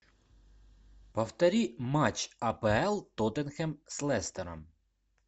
повтори матч апл тоттенхэм с лестером